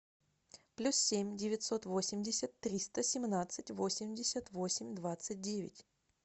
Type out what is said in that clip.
плюс семь девятьсот восемьдесят триста семнадцать восемьдесят восемь двадцать девять